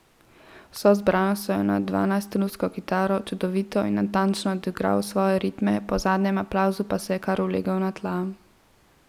Z vso zbranostjo je na dvanajststrunsko kitaro čudovito in natančno odigral svoje ritme, po zadnjem aplavzu pa se je kar ulegel na tla.